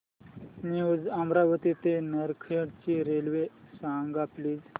new Amravati ते नरखेड ची railway सांग प्लीज